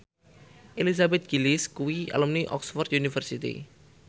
Elizabeth Gillies kuwi alumni Oxford university